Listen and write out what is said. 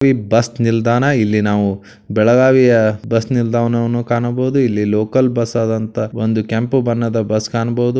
ಇದು ಬಸ್ ನಿಲ್ದಾಣ ಇಲ್ಲಿ ನಾವು ಬೆಳಗಾವಿಯ ಬಸ್ ನಿಲ್ದಾಣ ವನ್ನು ಕಾಣಬಹುದು ಇಲ್ಲಿ ಲೋಕಲ್ ಬಸ್ ಆದಂತಹ ಒಂದು ಕೆಂಪು ಬಣ್ಣದ ಬಸ್ ಕಾಣಬಹುದು.